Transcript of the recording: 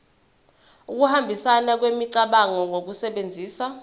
ukuhambisana kwemicabango ngokusebenzisa